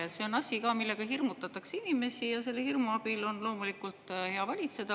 Ja see on asi, millega hirmutatakse inimesi, ja selle hirmu abil on loomulikult hea valitseda.